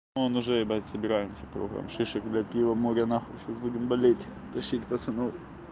вот уже ебать собираемся кругом шишек блять пива море нахуй сейчас будем болеть тащить пацанов